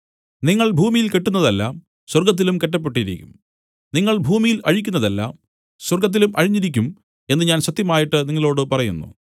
നിങ്ങൾ ഭൂമിയിൽ കെട്ടുന്നതെല്ലാം സ്വർഗ്ഗത്തിലും കെട്ടപ്പെട്ടിരിക്കും നിങ്ങൾ ഭൂമിയിൽ അഴിക്കുന്നതെല്ലാം സ്വർഗ്ഗത്തിലും അഴിഞ്ഞിരിക്കും എന്നു ഞാൻ സത്യമായിട്ട് നിങ്ങളോടു പറയുന്നു